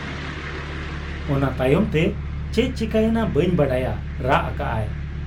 ᱚᱱᱟ ᱛᱟᱭᱚᱢᱛᱮ ᱪᱮᱫ ᱪᱤᱠᱟᱹ ᱮᱱᱟ ᱵᱟᱹᱧ ᱵᱟᱰᱟᱭᱟ ᱾' ᱨᱟᱜ ᱟᱠᱟᱜ ᱟᱭ ᱾